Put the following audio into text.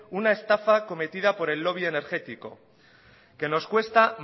una estafa cometida por el lobby energético que nos cuesta